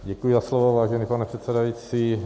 Děkuji za slovo, vážený pane předsedající.